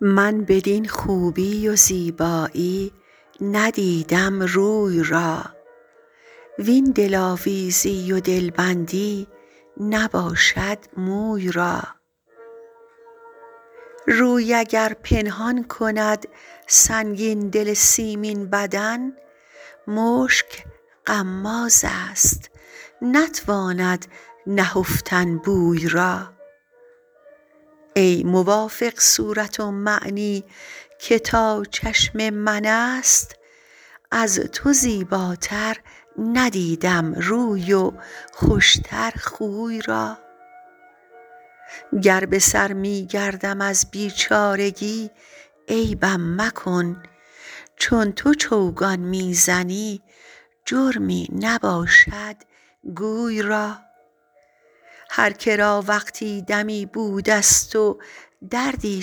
من بدین خوبی و زیبایی ندیدم روی را وین دلآویزی و دلبندی نباشد موی را روی اگر پنهان کند سنگین دل سیمین بدن مشک غمازست نتواند نهفتن بوی را ای موافق صورت ومعنی که تا چشم من است از تو زیباتر ندیدم روی و خوش تر خوی را گر به سر می گردم از بیچارگی عیبم مکن چون تو چوگان می زنی جرمی نباشد گوی را هر که را وقتی دمی بودست و دردی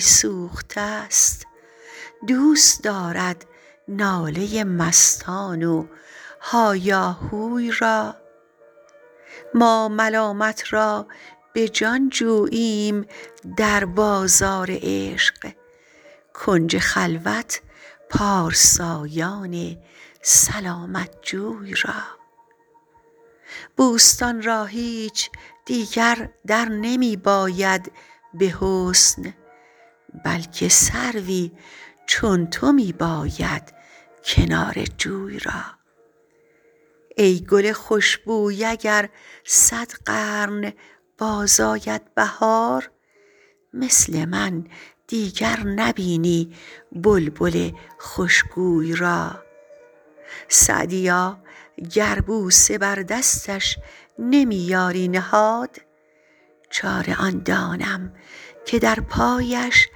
سوخته ست دوست دارد ناله مستان و هایاهوی را ما ملامت را به جان جوییم در بازار عشق کنج خلوت پارسایان سلامت جوی را بوستان را هیچ دیگر در نمی باید به حسن بلکه سروی چون تو می باید کنار جوی را ای گل خوش بوی اگر صد قرن باز آید بهار مثل من دیگر نبینی بلبل خوش گوی را سعدیا گر بوسه بر دستش نمی یاری نهاد چاره آن دانم که در پایش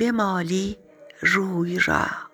بمالی روی را